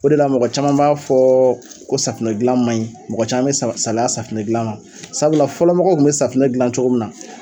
O de la mɔgɔ caman b'a fɔ ko safunɛ gilan man ɲi mɔgɔ caman bɛ salaya safunɛ gilan na sabula fɔlɔ mɔgɔw kun bɛ safunɛ gilan cogo min na